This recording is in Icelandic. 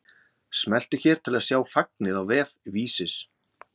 Smelltu hér til að sjá fagnið á vef Vísis